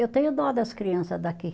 Eu tenho dó das criança daqui.